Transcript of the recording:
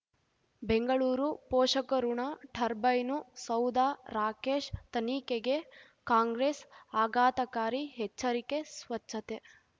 ಬೆಂಗಳೂರು ಪೋಷಕಋಣ ಟರ್ಬೈನು ಸೌಧ ರಾಕೇಶ್ ತನಿಖೆಗೆ ಕಾಂಗ್ರೆಸ್ ಆಘಾತಕಾರಿ ಎಚ್ಚರಿಕೆ ಸ್ವಚ್ಛತೆ